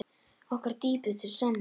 Okkar dýpstu samúð.